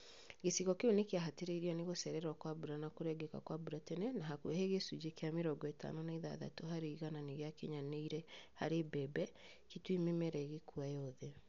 Gĩcigo kĩu nĩkĩahatĩrĩirio nĩ gũcererwo kwa mbura na kũrengeka kwa mbura tene na hakuhĩ gĩcunjĩ kĩa mĩrongo ĩtano na ithathatũ harĩ igana nĩgĩakinyanĩire harĩ mbembe, Kitui mĩmera ĩgĩkua yothe